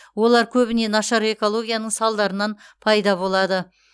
олар көбіне нашар экологияның салдарынан пайда болады